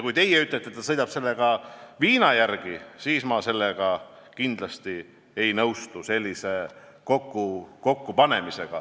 Kui teie ütlete, et ta sõidab viina järele, siis ma sellega kindlasti ei nõustu.